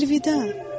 Əlvida,